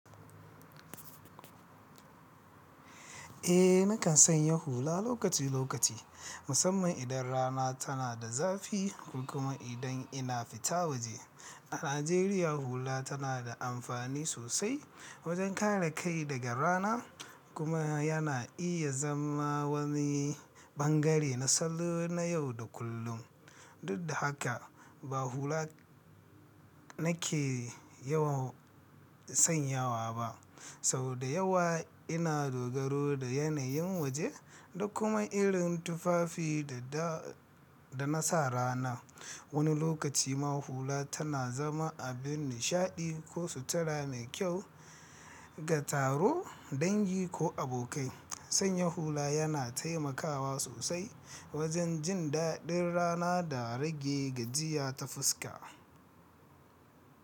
Eh, nakan sanya hula lokaci-lokaci, musamman idan rana tana da zafi ko kuma idan ina fita waje. A Najeriya, hula tana da amfani sosai wajen kare kai daga rana kuma yana iya zama wani ɓangare na salo na yau da kullum. Duk da haka, ba hula nake yawan sanyawa ba, saboda yawa ina dogaro da yanayin waje da kuma irin tufafi da na sa rana. Wani lokaci ma hula tana zama abin nishaɗi ko sutura mai kyau ga taro, dangi ko abokai. Sanya hula yana taimakawa sosai wajen jin daɗin rana da rage gajiya ta fuska.